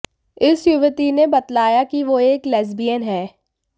इस युवती ने बतलाया कि वो एक लेस्बियन है